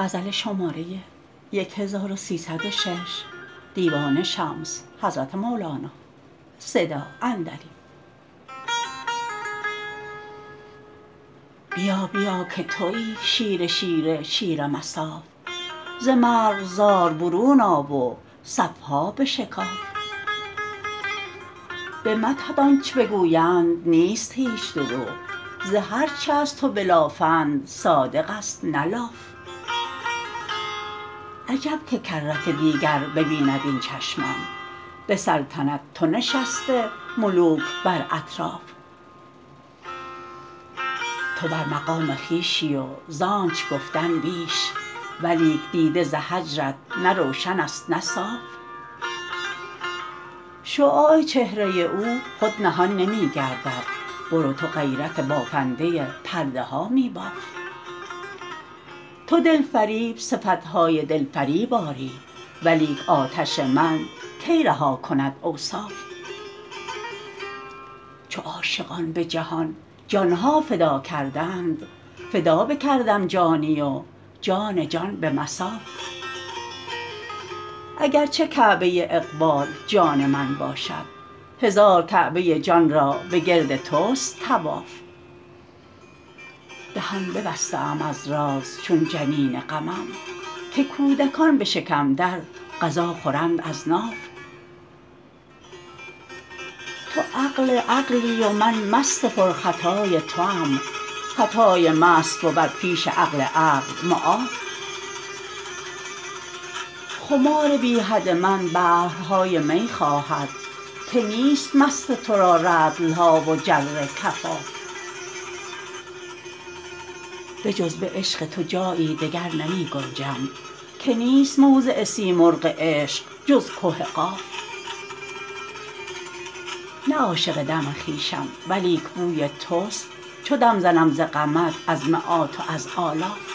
بیا بیا که توی شیر شیر شیر مصاف ز مرغزار برون آ و صف ها بشکاف به مدحت آنچ بگویند نیست هیچ دروغ ز هر چه از تو بلافند صادقست نه لاف عجب که کرت دیگر ببیند این چشمم به سلطنت تو نشسته ملوک بر اطراف تو بر مقامه خویشی وز آنچ گفتم بیش ولیک دیده ز هجرت نه روشنست نه صاف شعاع چهره او خود نهان نمی گردد برو تو غیرت بافنده پرده ها می باف تو دلفریب صفت های دلفریب آری ولیک آتش من کی رها کند اوصاف چو عاشقان به جهان جان ها فدا کردند فدا بکردم جانی و جان جان به مصاف اگر چه کعبه اقبال جان من باشد هزار کعبه جان را بگرد تست طواف دهان ببسته ام از راز چون جنین غمم که کودکان به شکم در غذا خورند از ناف تو عقل عقلی و من مست پرخطای توام خطای مست بود پیش عقل عقل معاف خمار بی حد من بحرهای می خواهد که نیست مست تو را رطل ها و جره کفاف بجز به عشق تو جایی دگر نمی گنجم که نیست موضع سیمرغ عشق جز که قاف نه عاشق دم خویشم ولیک بوی تست چو دم زنم ز غمت از مت و از آلاف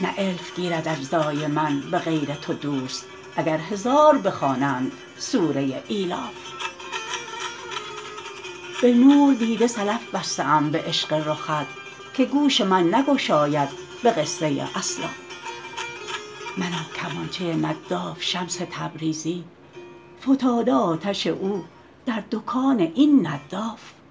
نه الف گیرد اجزای من به غیر تو دوست اگر هزار بخوانند سوره ایلاف به نور دیده سلف بسته ام به عشق رخت که گوش من نگشاید به قصه اسلاف منم کمانچه نداف شمس تبریزی فتاده آتش او در دکان این نداف